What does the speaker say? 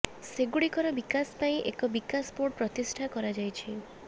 ସେଗୁଡ଼ିକର ବିକାଶ ପାଇଁ ଏକ ବିକାଶ ବୋର୍ଡ ପ୍ରତିଷ୍ଠା କରାଯାଇଛି